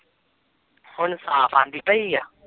ਹੁਣ ਸਾਫ ਆਂਦੀ ਪਈ ਆ